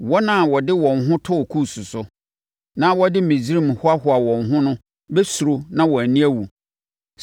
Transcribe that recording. Wɔn a wɔde wɔn ho too Kus so, na wɔde Misraim hoahoaa wɔn ho no bɛsuro na wɔn ani awu.